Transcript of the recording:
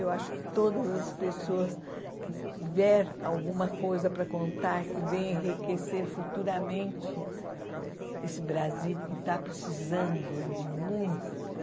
Eu acho que todas as pessoas que tiver alguma coisa para contar, que vem enriquecer futuramente esse Brasil que está precisando de muita...